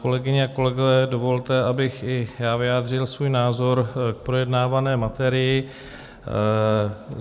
Kolegyně a kolegové, dovolte, abych i já vyjádřil svůj názor k projednávané materii.